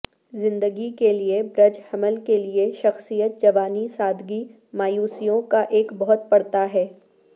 زندگی کے لئے برج حمل کی شخصیت جوانی سادگی مایوسیوں کا ایک بہت پڑتا ہے